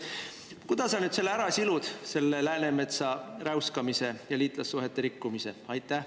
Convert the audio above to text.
Kuidas sa nüüd ära silud selle Läänemetsa räuskamise ja liitlassuhete rikkumise?